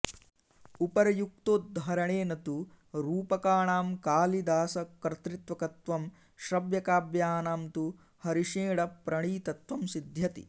उपर्युक्तोद्धरणेन तु रूपकाणां कालिदासकर्तृकत्वं श्रव्यकाव्यानां तु हरिषेणप्रणीतत्वं सिध्यति